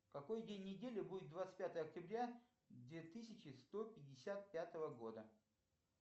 какой день недели будет двадцать пятое октября две тысячи сто пятьдесят пятого года